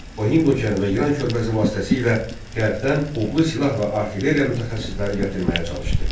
O, Hind okeanı və İran körfəzi vasitəsilə qərbdən odlu silah və artilleriya mütəxəssisləri gətirməyə çalışdı.